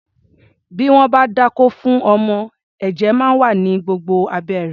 Bí wọ́n bá dákó fún ọmọ, ẹ̀jẹ̀ máa wà ní gbogbo abẹ́ rẹ̀.